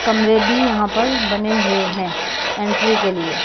कमरे भी यहां पर बने हुए हैं एंट्री के लिए।